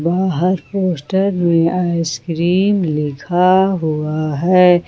हर poster में ice cream लिखा हुआ है।